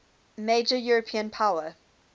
major european power